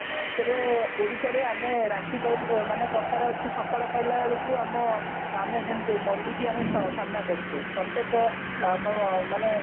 ତେବେ ଓଡିଶାରେ ଆମେ ରାତି ପାହିଲେ ମାନେ କଥାରେ ଅଛି ସକାଳ ପହିଲା ବେଳକୁ ଆମ ଆମେ ଯେମତି ମରୁଡିକୁ ଆମେ ସ ସ ସାମ୍ନା କରୁଛେ ପ୍ରତ୍ୟକ ମ ମାନେ